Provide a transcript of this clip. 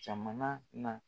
jamana na.